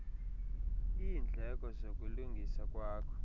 iindleko zokulungisa kwakho